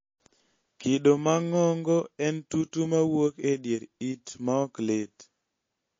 kido mang'ongo en tutu mawuok edier it maoklit